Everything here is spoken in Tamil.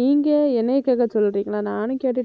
நீங்க என்னைய கேட்க சொல்றீங்களா நானும் கேட்டுட்டு